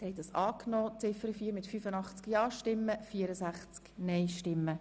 Sie haben Ziffer 4 als Postulat angenommen.